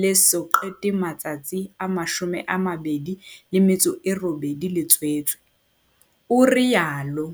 le eso qete matsatsi a 28 le tswetswe, o itsalo.